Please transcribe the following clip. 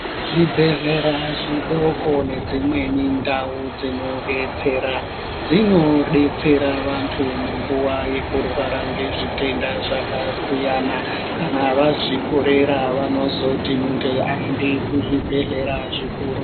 Zvibhedhlera zvidoko nedzimweni ndawo dzinodetsera , dzinodetsera vantu munguwa yekurwara ngezvitenda zvakasiyana siyana. Kana vazvikorera vanozoti muntu ayende kuzvibhedhlera zvikuru.